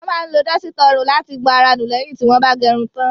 Wọ́n máa ń lo dọ́sítà ọrùn láti gbọn ara nù lẹ́yìn tí wọ́n bá gẹrun tán.